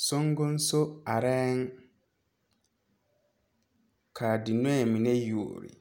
Nobɔ yaga arɛɛ dikaraa poɔŋ ka ba mine are fuolee